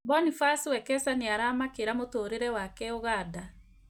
Boniface Wekesa nĩaramakĩra mũtũrĩre wake Uganda